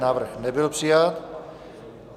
Návrh nebyl přijat.